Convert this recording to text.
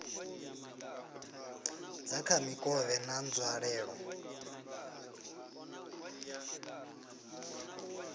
dza kha mikovhe na nzwalelo